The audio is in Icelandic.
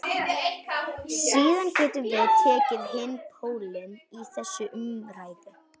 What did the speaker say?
Síðan getum við tekið hinn pólinn í þessa umræðu.